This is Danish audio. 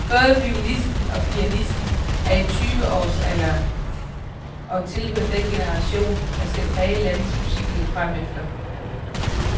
Både violinisten og pianisten er i tyveårs alderen og tilhører den generation, der skal præge landets musikliv fremefter.